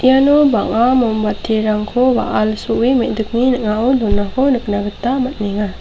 iano bang·a mombatirangko wa·al so·e me·dikni ning·ao donako nikna gita man·enga.